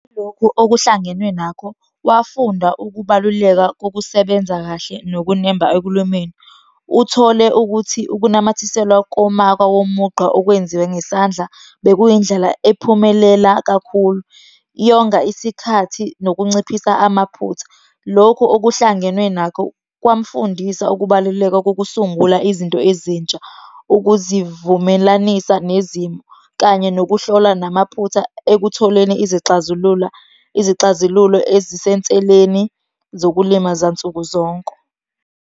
Lokhu okuhlangenwe nakho, wafunda ukubaluleka kokusebenza kahle nokunemba ekulumeni. Uthole ukuthi ukunamathiselwa komaka womugqa okwenziwe ngesandla, bekuyindlela ephumelela kakhulu. Yonga isikhathi, nokunciphisa amaphutha. Lokhu okuhlangenwe nakho kwamfundisa ukubaluleka kokusungula izinto ezintsha, ukuzivumelanisa nezimo, kanye nokuhlola namaphutha ekutholeni izixazulula, izixazululo ezisenseleni zokulima zansuku zonke.